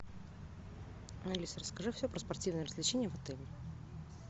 алиса расскажи все про спортивные развлечения в отеле